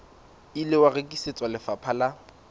ile wa rekisetswa lefapha la